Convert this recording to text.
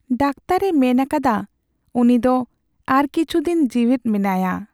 ᱫᱟᱠᱛᱟᱨᱼᱮ ᱢᱮᱱ ᱟᱠᱟᱫᱟ ᱩᱱᱤ ᱫᱚ ᱟᱨ ᱠᱤᱪᱷᱩ ᱫᱤᱱ ᱡᱤᱣᱮᱫ ᱢᱮᱱᱟᱭᱟ ᱾